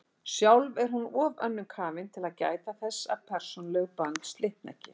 Sjálf er hún of önnum kafin til að gæta þess að persónuleg bönd slitni ekki.